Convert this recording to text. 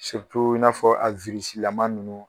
i n'a fɔ a lama ninnu